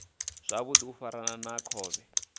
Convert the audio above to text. zwavhudi u fana na khovhe